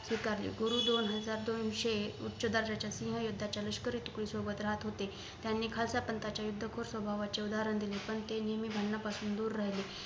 स्वीकारली गुरु दोन हजार दोनशे उच्च दर्जाच्या शिंहयुद्धाच्या लष्करी तुकडी सोबत राहत होते त्यांनी खालसा पंथाच्या युद्धखोर स्वभावाचे उदाहरण दिले पण ते नेहमी भांडणांपासून दूर राहिल स्वीकारले